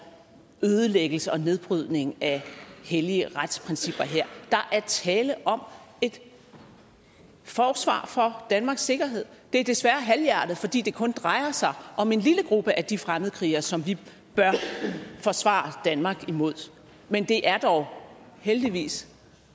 ødelæggelse og nedbrydning af hellige retsprincipper her der er tale om et forsvar for danmarks sikkerhed det er desværre halvhjertet fordi det kun drejer sig om en lille gruppe af de fremmedkrigere som vi bør forsvare danmark imod men det er dog heldigvis